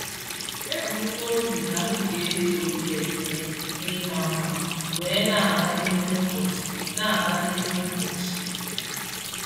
Ebu m n'obi na m ga-eji obi ekele na ịma mma wee na-aga n'ime ụbọchị. na-aga n'ime ụbọchị.